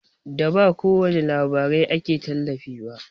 Da ba kowani labarai ake talifi ba